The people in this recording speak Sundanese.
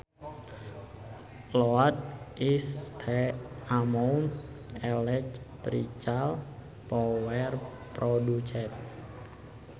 Load is the amount electrical power produced